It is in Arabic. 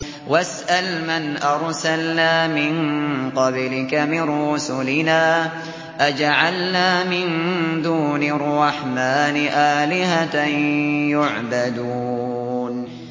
وَاسْأَلْ مَنْ أَرْسَلْنَا مِن قَبْلِكَ مِن رُّسُلِنَا أَجَعَلْنَا مِن دُونِ الرَّحْمَٰنِ آلِهَةً يُعْبَدُونَ